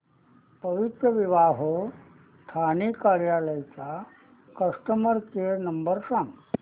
पवित्रविवाह ठाणे कार्यालय चा customer care number सांग